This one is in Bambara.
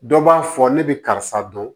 Dɔ b'a fɔ ne bɛ karisa dɔn